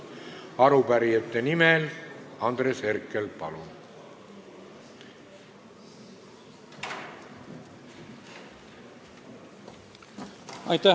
Arupärijate nimel Andres Herkel, palun!